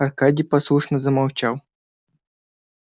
аркадий послушно замолчал